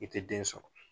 I tɛ den sɔrɔ